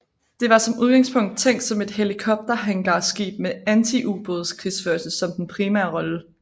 Det var som udgangspunkt tænkt som et helikopterhangarskib med antiubådskrigsførelse som den primære rolle